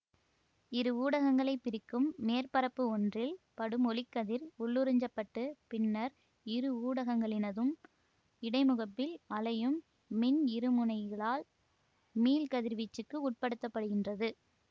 இரு ஊடகங்களைப் பிரிக்கும் மேற்பரப்பு ஒன்றில் படும் ஒளிக்கதிர் உள்ளுறிஞ்சப்பட்டு பின்னர் இரு ஊடகங்களினதும் இடைமுகப்பில் அலையும் மின் இருமுனையிகளால் மீள்கதிர்வீச்சுக்கு உட்படுத்தப்படுகின்றது